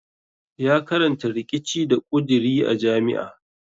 Ya karanta riƙici da ƙuduri a jami'a.